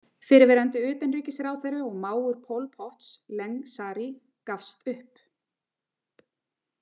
Fyrrverandi utanríkisráðherra og mágur Pol Pots, Ieng Sary, gafst upp.